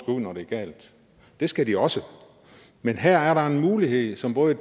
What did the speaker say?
når noget er galt det skal de også men her er der en mulighed som både